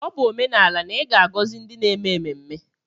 Ọ bụ omenala na ị ga-agọzi ndi n'eme mmemme.